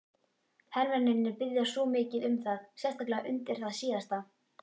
Hermennirnir biðja svo mikið um það, sérstaklega undir það síðasta.